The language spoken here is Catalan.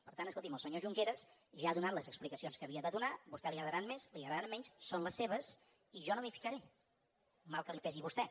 per tant escolti’m el senyor junqueras ja ha donat les explicacions que havia de donar a vostè li agradaran més li agradaran menys són les seves i jo no m’hi ficaré mal que li pesi a vostè